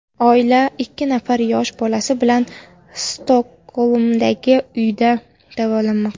Oila ikki nafar yosh bolasi bilan Stokgolmdagi uyida davolanmoqda.